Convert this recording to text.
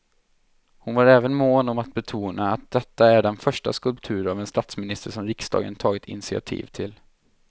Hon var även mån om att betona att detta är den första skulptur av en statsminister som riksdagen tagit initiativ till.